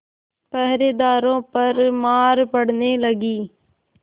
पहरेदारों पर मार पड़ने लगी